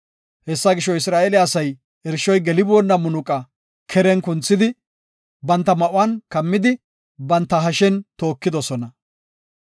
Hessa gisho, Isra7eele asay irshoy geliboonna munaqa keren kunthidi, banta ma7uwan kammidi, banta hashen tookidosona.